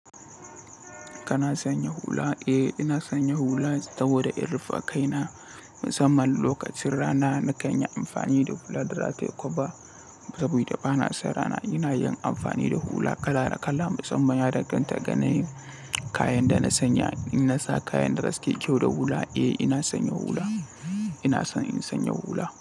Kana sanya hula? Eh! Ina sanya hula saboda in rufe kai na. Musamman lokacin rana na kan yi amfani da hula da safe ko ba. Saboda bana son rana ina yin amfani da hula kala kala. Musamman ya danganta ga kayan da na sanya. In na sa kayan da taske kyau da hula, eh ina sanya hula. Ina so in sanya hula.